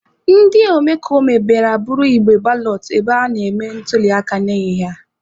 Ndị omekome bịara buru igbe balọt ebe a na-eme ntuliaka n'ehihie a.